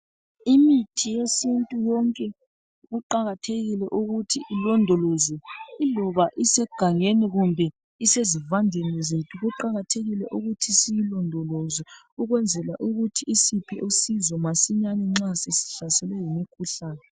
Imithi yesintu yonke kuqakathekile ukuthi ilondolozwe. Iloba isegangeni kumbe isezivandeni zethu, kuqakathekile ukuthi siyilondoloze ukwenzela ukuthi isiphe usizo masinyani nxa sesihlaselwe yimikhuhlane.